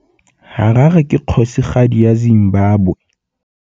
Harare ke kgosigadi ya Zimbabwe.